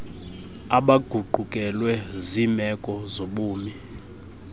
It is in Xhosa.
abaguqukelwe ziimeko zobumi